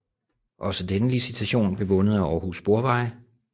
Også denne licitation blev vundet af Aarhus Sporveje